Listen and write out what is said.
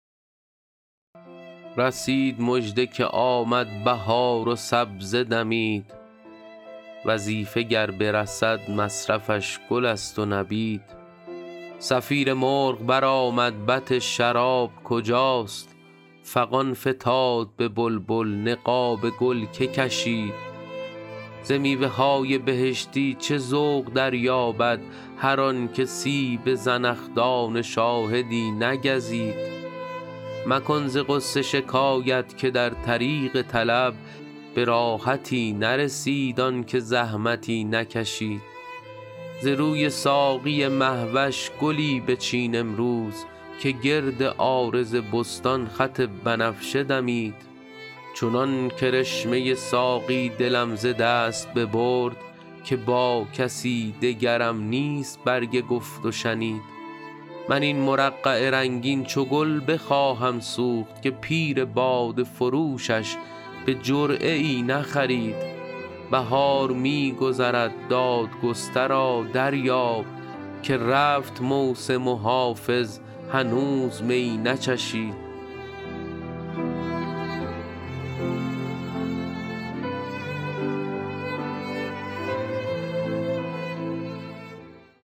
رسید مژده که آمد بهار و سبزه دمید وظیفه گر برسد مصرفش گل است و نبید صفیر مرغ برآمد بط شراب کجاست فغان فتاد به بلبل نقاب گل که کشید ز میوه های بهشتی چه ذوق دریابد هر آن که سیب زنخدان شاهدی نگزید مکن ز غصه شکایت که در طریق طلب به راحتی نرسید آن که زحمتی نکشید ز روی ساقی مه وش گلی بچین امروز که گرد عارض بستان خط بنفشه دمید چنان کرشمه ساقی دلم ز دست ببرد که با کسی دگرم نیست برگ گفت و شنید من این مرقع رنگین چو گل بخواهم سوخت که پیر باده فروشش به جرعه ای نخرید بهار می گذرد دادگسترا دریاب که رفت موسم و حافظ هنوز می نچشید